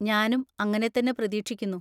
ഞാനും അങ്ങനെ തന്നെ പ്രതീക്ഷിക്കുന്നു,